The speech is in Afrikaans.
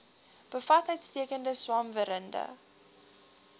bevat uitstekende swamwerende